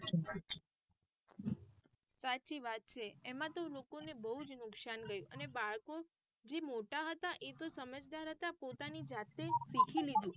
સાચી વાત છે એમાં તો લોકો ને બહુજ નુકસાન રહ્યું અને બાળકો જે મોટા હતા એ તો સમજદાર હતા પોતાની જાતે શીખી લીધુ.